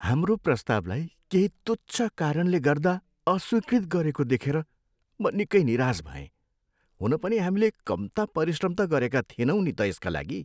हाम्रो प्रस्तावलाई केही तुच्छ कारणले गर्दा अस्वीकृत गरेको देखेर म निकै निराश भएँ, हुन पनि हामीले कम्ता परिश्रम त गरेका थिएनौँ नि त यसका लागि।